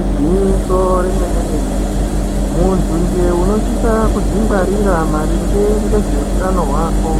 Igwinyiso remene mene muntu nje unosisa kudzingwarira maringe nezvehutano hwako